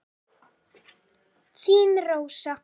Þín Rósa.